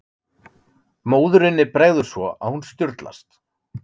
Móðurinni bregður svo að hún sturlast.